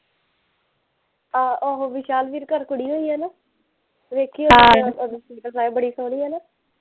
ਆਹੋ ਆਹੋ ਵਿਸ਼ਾਲ ਵੀਰ ਘਰ ਕੁੜੀ ਹੋਈ ਐ ਨਾ ਵੇਖੀ ਬੜੀ ਸੋਹਣੀ ਐ ਨਾ